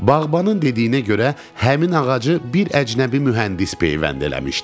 Bağbanın dediyinə görə həmin ağacı bir əcnəbi mühəndis peyvənd eləmişdi.